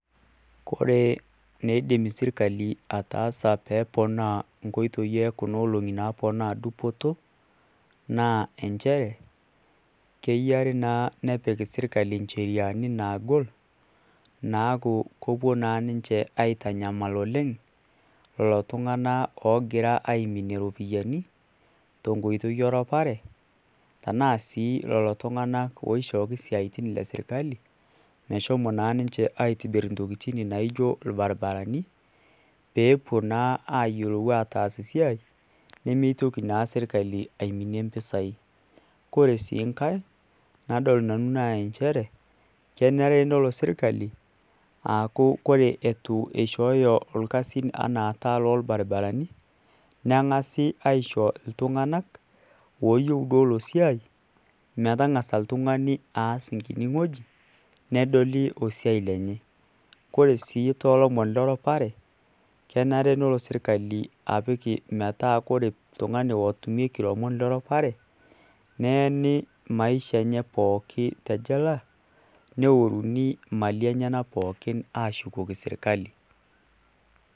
Kore eneidim sirkali ataasa pee eponaa nkoitoi e kuna olong`i naponaa dupoto naa enchere keyiare naa nepik sirkali ncheriani naagol. Naaku kepuo naa ninche aitanyamal oleng' lelo tung`anak oogira aiminie irropiyiani te nkoitoi e rupare tenaa sii lelo tung`anak oishooki isiaitin le sirkali meshomo naa ninche aitobirr ntokitin naijo ilbaribarani. Pee epuo naa ayiolou ataas esiai pee mitoki naa sirkali aiminie mpisai. Kore sii nkae nadol nanu naa nchere kenare nelo sirkali aaku kore eitu eishooyo ilkasin enaa taa iloo ilbaribarani neng`asi aisho iltung`anak looyieu duo ilo siai metang`asa oltung`ani aas enkiti wueji nedoli osiai enye. Kore sii too lomon le rrupare, kenare nelo sirkali apik metaa kore oltung`ani otumieki ilomon le rupare neeni maisha enye pooki te jela neworuni imali enyenak pookin aashukoki sirkali.